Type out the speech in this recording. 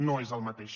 no és el mateix